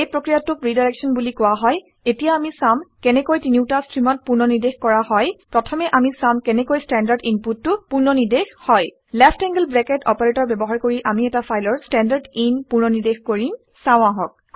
এই প্ৰক্ৰিয়াটোক ৰিডাইৰেক্সন বুলি কোৱা হয়। এতিয়া আমি চাম কেনেকৈ তিনিওটা ষ্ট্ৰিমত পুনৰ্নিৰ্দেশ কৰা হয়। প্ৰথমে অামি চাম কেনেকৈ ষ্ট্ৰেণ্ডাৰ্ড ইনপুটটো পুননিৰ্দেশ হয়। লেফ্ট এংলড ব্ৰেকেট অপাৰেটৰ ব্যৱহাৰ কৰি আমি এটা ফাইলৰ ষ্টেণ্ডাৰদিন পুনৰ্নিৰ্দেশ কৰিম চাওঁ আহক